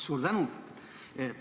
Suur tänu!